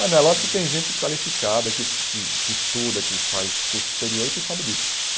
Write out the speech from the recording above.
Mas não lógico que tem gente qualificada, que que que estuda, que faz curso superior e que sabe disso.